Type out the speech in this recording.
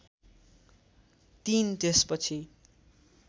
३ त्यसपछि